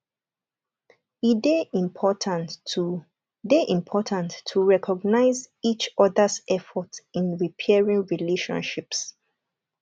e dey important to dey important to recognize each others efforts in repairing relationships